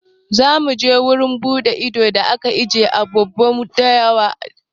Za mu je wurin buɗe ido da ake ajiye dabbobin dawa na Yankari.